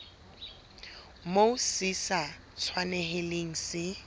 moo se sa tshwanelang se